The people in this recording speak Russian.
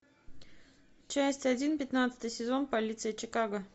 часть один пятнадцатый сезон полиция чикаго